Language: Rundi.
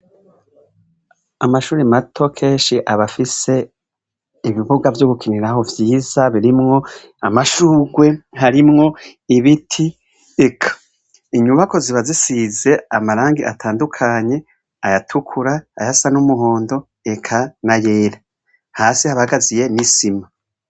Amashure mato kenshi abafise ibibuga vyo gukiniramwo vyiza birimwo amashurwe harimwo ibiti eka inyubakwa ziba zisize amarangi atangukanye ayatukura ayasa numuhondo eka nayera hasi haba hagazuye nisima